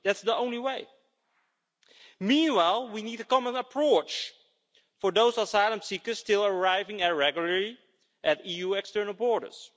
That's the only way. Meanwhile, we need a common approach for those asylum seekers still arriving irregularly at EU external borders.